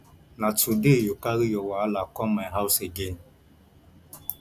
na today you carry your wahala come my house again